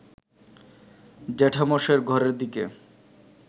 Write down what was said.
জ্যাঠামশায়ের ঘরের দিকে